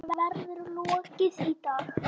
Honum verður lokið í dag.